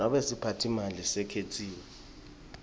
nobe siphatsimandla lesikhetsiwe